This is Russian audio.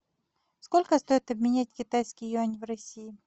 сколько стоит обменять китайский юань в россии